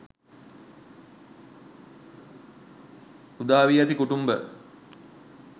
උදා වී ඇති කුටුම්භ